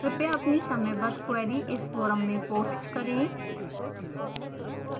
कृपया अपनी समयबद्ध queries इस forum में post करें